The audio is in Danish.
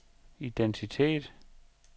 identitet